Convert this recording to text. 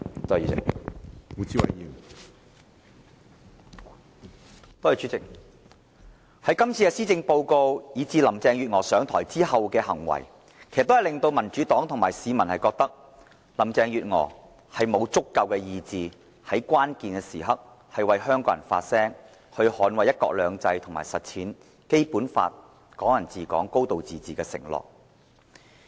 主席，林鄭月娥這份施政報告，以及她上台後的行為，都令民主黨和市民覺得她沒有足夠的意志，在關鍵時刻為香港人發聲，捍衞"一國兩制"和實踐《基本法》中"港人治港"、"高度自治"的承諾。